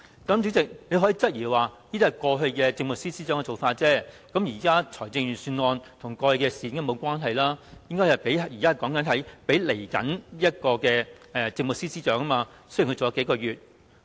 主席可能會質疑，這是過去政務司司長的做法，現時財政預算案跟過去的事無關，我們應討論供現任政務司司長在未來的日子使用的撥款，儘管他的任期只餘數個月。